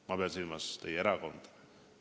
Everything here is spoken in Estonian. Ma pean silmas teie erakonda.